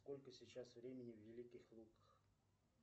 сколько сейчас времени в великих луках